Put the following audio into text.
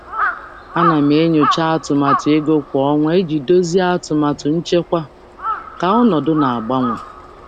Ana m enyocha atụmatụ ego kwa ọnwa iji dozie atụmatụ nchekwa ka ọnọdụ na-agbanwe.